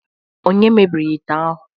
Onye mebiri ite ahu